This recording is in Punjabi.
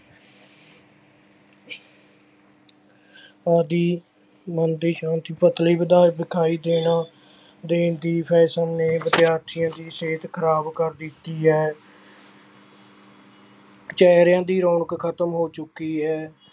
ਆਦਿ ਮਨ ਦੀ ਸ਼ਾਂਤੀ ਵਿਖਾਈ ਦੇਣਾ, ਦੇਣ ਦੀ fashion ਨੇ ਵਿਦਿਆਰਥੀਆਂ ਦੀ ਸਿਹਤ ਖ਼ਰਾਬ ਕਰ ਦਿੱਤੀ ਹੈ ਚਿਹਰਿਆਂ ਦੀ ਰੌਣਕ ਖ਼ਤਮ ਹੋ ਚੁੱਕੀ ਹੈ।